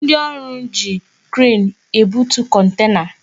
Ndị ọrụ ji kren ebutu kontena